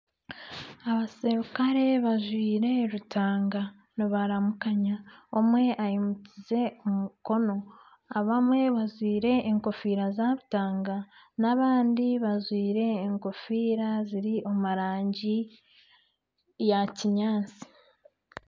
Abasirukare bajwaire rutaanga nibaramukanya omwe aimukize omukono abamwe bajwaire enkofiira za rutaanga n'abandi bajwaire enkofiira ziri omu rangi ya kinyaatsi.